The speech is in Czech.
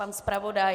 Pan zpravodaj?